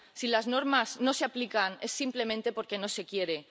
Si las normas no se aplican es simplemente porque no se quiere.